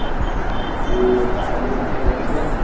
Tu Tanaji picture बघितलायस?